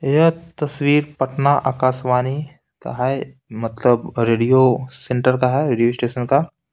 यह तस्वीर पटना आकाशवाणी का है मतलब रेडियो सेंटर का है रेडियो स्टेशन का--